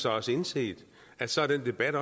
også indset at så er den debat